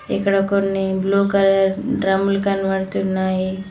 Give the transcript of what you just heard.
ఇక్కడ కొన్ని blue colour డ్రమ్ములు కనబడుతున్నాయి